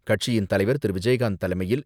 கட்சியின் தலைவர் திரு.விஜயகாந்த் தலைமையில்,